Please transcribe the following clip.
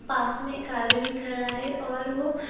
पास में एक आदमी खड़ा है और वो--